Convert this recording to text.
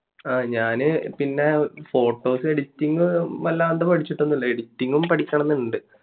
ഞാന് പിന്നെ photos editing വല്ലാണ്ട് പഠിച്ചിട്ട് ഒന്നുമില്ല editing ഉം പഠിക്കണമെന്നുണ്ട്